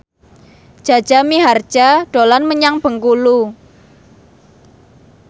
Jaja Mihardja dolan menyang Bengkulu